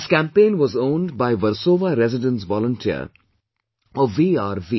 This campaign was owned by Versova Residence volunteer or VRV